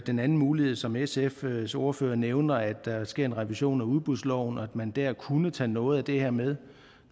den anden mulighed som sfs ordfører nævner om at der sker en revision af udbudsloven og at man der kunne tage noget af det her med